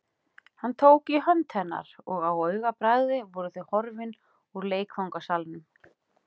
Hann tók í hönd hennar og á augabragði voru þau horfin úr leikfangasalnum.